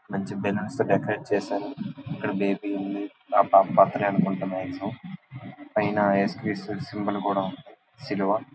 మంచి బెల్లూన్స్ తో డెకరేట్ చేశారు ఇక్కడ బేబీ ఉంది అ పాప బర్త్డే అనుకుంటా మాక్సిమియం . పైన యేసుక్రీస్తు సింబల్ కూడా ఉన్నది సిలువ --